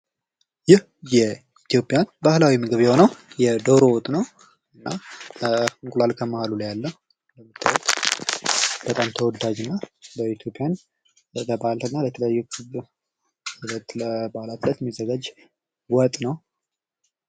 ይህ የኢትዮጵያ ባህላዊ ምግብ የሆነው ዶሮ ወጥ ነው። እና እንቁላል ከመሃሉ ላይ አለ። በጣም ተወዳጅ ነው በኢትዮጵያ። ለበአላትና ለተለያዩ የበአል እለት የሚዘጋጅ ወጥ ነው።